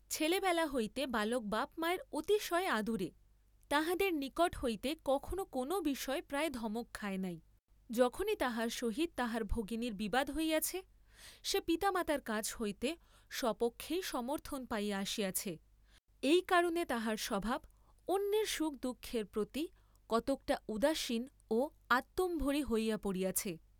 ছেলেবেলা হইতে বালক বাপ মায়ের অতিশয় আদুরে, তাঁহাদের নিকট হইতে কখনো কোন বিষয়ে প্রায় ধমক্ খায় নাই, যখনি তাহার সহিত তাহার ভগিনীর বিবাদ হইয়াছে, সে পিতামাতার কাছ হইতে স্বপক্ষেই সমর্থন পাইয়া আসিয়াছে, এই কারণে তাহার স্বভাব অন্যের সুখ দুঃখের প্রতি কতকটা উদাসীন ও আত্মম্ভরি হইয়া পড়িয়াছে।